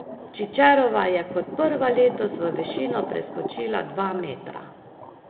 Čičerova je kot prva letos v višino preskočila dva metra.